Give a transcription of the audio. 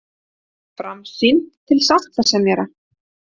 Framsýn til sáttasemjara